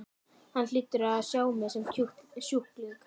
Hann hlýtur að sjá mig sem sjúkling.